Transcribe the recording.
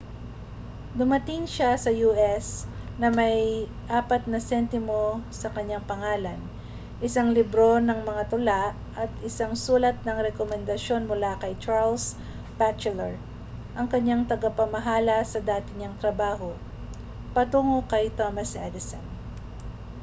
dumating siya sa us na may 4 na sentimo sa kaniyang pangalan isang libro ng mga tula at isang sulat ng rekomendasyon mula kay charles batchelor ang kaniyang tagapamahala sa dati niyang trabaho patungo kay thomas edison